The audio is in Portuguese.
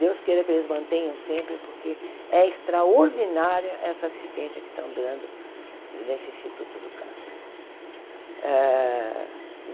Deus queira que eles mantenham sempre, porque é extraordinária essa assistência que estão dando nesse Instituto do Câncer.